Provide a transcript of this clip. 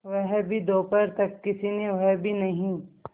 वह भी दोपहर तक किसी ने वह भी नहीं